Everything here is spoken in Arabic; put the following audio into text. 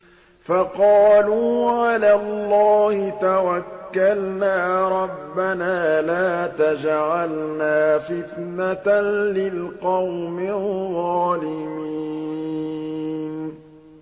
فَقَالُوا عَلَى اللَّهِ تَوَكَّلْنَا رَبَّنَا لَا تَجْعَلْنَا فِتْنَةً لِّلْقَوْمِ الظَّالِمِينَ